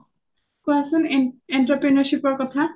অ কোৱাচোন entrepreneurship ৰ কথা